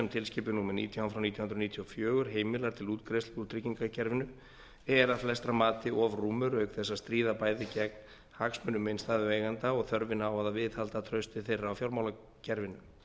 tilskipun númer nítján frá nítján hundruð níutíu og fjögur heimilar til útgreiðslu úr tryggingakerfinu er að flestra mati of rúmur auk þess að stríða bæði gegn hagsmunum innstæðueigenda og þörfinni á að viðhalda trausti þeirra á fjármálakerfinu